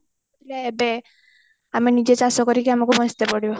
ଏବେ ଆମେ ନିଜେ ଚାଷ କରିକି ଆମକୁ ବଞ୍ଚିତେ ପଡିବ